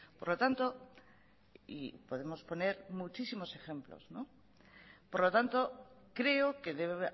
por lo tanto y podemos poner muchísimos ejemplos por lo tanto creo que debe